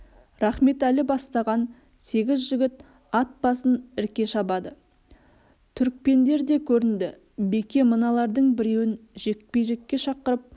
рахметәлі бастаған сегіз жігіт ат басын ірке шабады түрікпендер де көрінді беке мыналардың біреуін жекпе-жекке шақырып